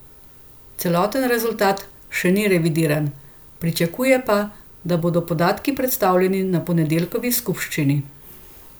Celoten rezultat še ni revidiran, pričakuje pa, da bodo podatki predstavljeni na ponedeljkovi skupščini.